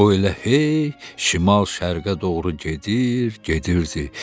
O elə hey şimal-şərqə doğru gedir, gedirdi.